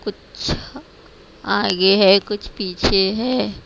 कुछ आगे है कुछ पीछे है।